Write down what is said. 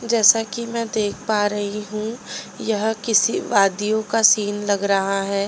जैसा कि मैं देख पा रही हूं यह किसी वादीयो का सीन लग रहा है।